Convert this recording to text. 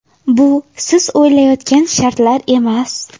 Bu siz o‘ylayotgan shartlar emas.